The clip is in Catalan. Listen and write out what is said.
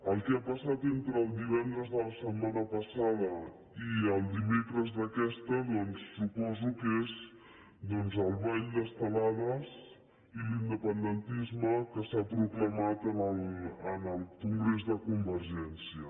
el que ha passat entre el divendres de la setma·na passada i el dimecres d’aquesta doncs suposo que és el ball d’estelades i l’independentisme que s’ha pro·clamat en el congrés de convergència